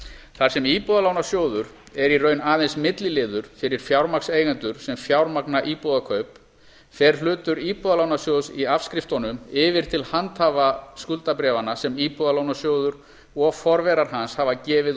þar sem íbúðalánasjóður er í raun aðeins milliliður fyrir fjármagnseigendur sem fjármagna íbúðakaup fer hlutur íbúðalánasjóðs í afskriftunum yfir til handhafa skuldabréfanna sem íbúðalánasjóður og forverar hans hafa gefið